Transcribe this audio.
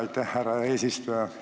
Aitäh, härra eesistuja!